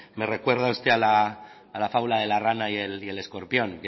me recuerda usted a la fábula de la rana y el escorpión